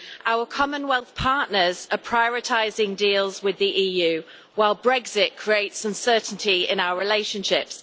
Our commonwealth partners are prioritising deals with the EU, while Brexit creates uncertainty in our relationships.